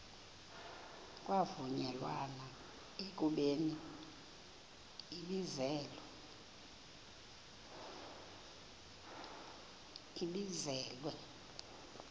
kwavunyelwana ekubeni ibizelwe